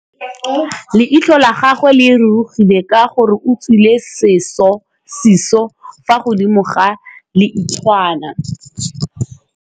Leitlhô la gagwe le rurugile ka gore o tswile sisô fa godimo ga leitlhwana.